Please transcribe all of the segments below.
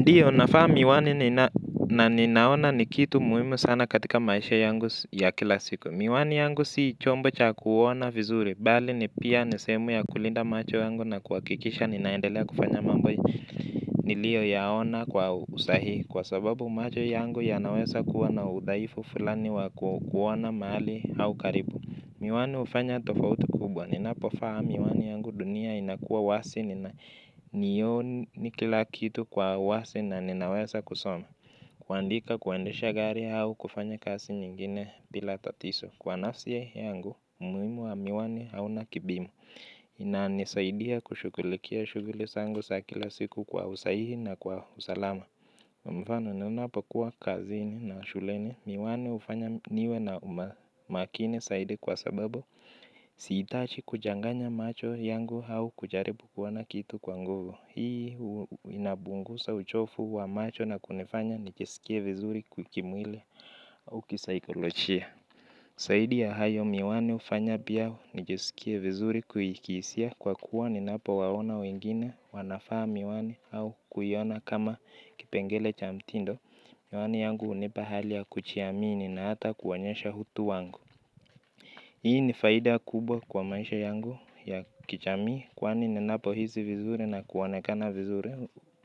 Ndiyo nafaa miwani na ninaona ni kitu muhimu sana katika maisha yangu ya kila siku. Miwani yangu si chombo cha kuona vizuri. Bali ni pia ni sehemu ya kulinda macho yangu na kuhakikisha ninaendelea kufanya mambo. Niliyoyaona kwa usahihi. Kwa sababu macho yangu yanaweza kuwa na udhaifu fulani wa kuona mahali au karibu. Miwani hufanya tofauti kubwa. Ninapofaa miwani yangu dunia inakuwa wasi. Ndiyo ni kila kitu kwa wazi na ninaweza kusoma. Kuandika kuendesha gari au kufanya kazi nyingine bila tatizo. Kwa nafsi yangu, umuhimu wa miwani hauna kipimo inanisaidia kushughulikia shughuli zangu za kila siku kwa usahihi na kuwa usalama. Mfano, ninapokuwa kazini na shuleni miwani hufanya niwe na makini zaidi kwa sababu si hitaji kuchanganya macho yangu au kujaribu kuona kitu kwa nguvu. Hii inapungusa uchovu wa macho na kunifanya nijisikie vizuri kimwili au kisaikolojia zaidi ya hayo miwani hufanya pia nijisikie vizuri nikihisia kwa kuwa ninapowaona wengine wanaivaa miwani ama kuiona kama kimpengele cha mtindo. Miwani yangu hunipa hali ya kujiamini na ata kuonyesha utu wangu. Hii ni faida kubwa kwa maisha yangu ya kijamii, kwani ninapohisi vizuri na kuonekana vizuri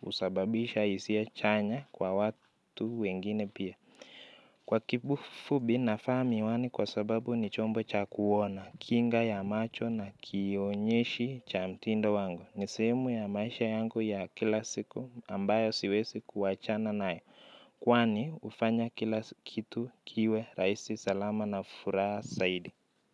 husababisha hisia chanya kwa watu wengine pia. Kwa kifupi navaa miwani kwa sababu ni chombo cha kuona, kinga ya macho na kionyeshi cha mtindo wangu. Ni sehemu ya maisha yangu ya kila siku ambayo siwezi kuachana nayo, kwani hufanya kila kitu kiwe rahisi salama na furaha zaidi.